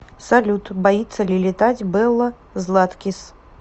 салют боится ли летать белла златкис